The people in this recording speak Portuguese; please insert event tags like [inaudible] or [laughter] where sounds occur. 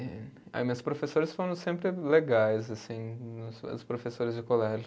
[unintelligible] Aí meus professores foram sempre legais, assim, os professores de colégio.